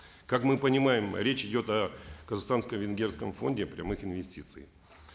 как мы понимаем речь идет о казахстанско венгерском фонде прямых инвестиций